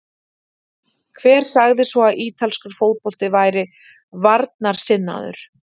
Hver sagði svo að ítalskur fótbolti væri varnarsinnaður?